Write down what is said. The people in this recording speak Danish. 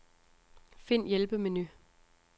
Find hjælpemenu.